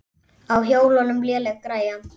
Á hjólum léleg græja.